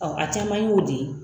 Ɔn a caman y'o de ye.